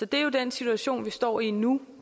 det er jo den situation vi står i nu